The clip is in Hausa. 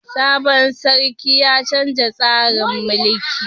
Sabon sarkin ya canza tsarin mulki.